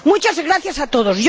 Muchas gracias a todos.